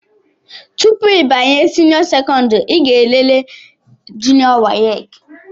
Tụpụ ịbanye senio sekondari i ga-elele junió wace.